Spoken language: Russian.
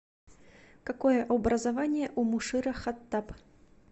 какое образование у мушира хаттаб